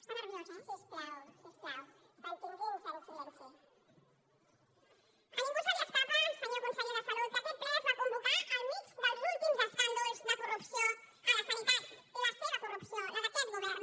està nerviós eh a ningú se li escapa senyor conseller de salut que aquest ple es va convocar al mig dels últims escàndols de corrupció a la sanitat la seva corrupció la d’aquest govern